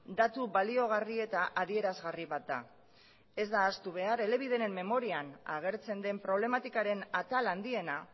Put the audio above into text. datu baliagarri eta adierazgarri bat da ez da ahaztu behar elebideren memorian agertzen den problematikaren atal handiena